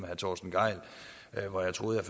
herre torsten gejl hvor jeg troede at